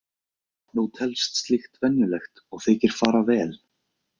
Nú telst slíkt venjulegt og þykir fara vel.